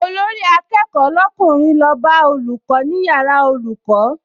Olórí-akẹ́kọ̀ọ́ lọ́kùnrin lọ bá olùkọ́ ní yàrá olùkọ́